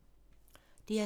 DR2